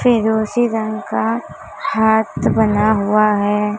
फिर उसी रंग का हाथ बना हुआ है।